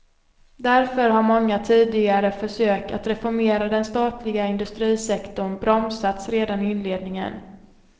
Därför har många tidigare försök att reformera den statliga industrisektorn bromsats redan i inledningen.